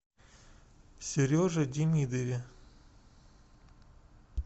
сереже демидове